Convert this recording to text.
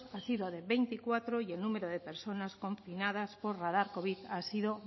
ha sido de veinticuatro y el número de personas confinadas por radar covid ha sido